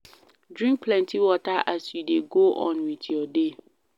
Drink plenty water as you dey go on with your day